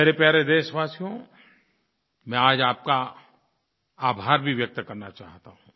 मेरे प्यारे देशवासियो मैं आज आपका आभार भी व्यक्त करना चाहता हूँ